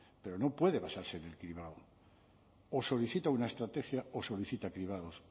pero no puede basarse en el cribado o solicita una estrategia o solicita cribados